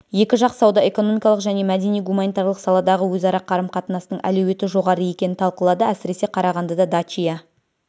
екі жақ сауда-экономикалық және мәдени-гуманитарлық саладағы өзара қарым-қатынастың әлеуеті жоғары екенін талқылады әсіресе қарағандыда дачия